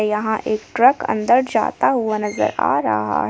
यहां एक ट्रक अंदर जाता हुआ नजर आ रहा है।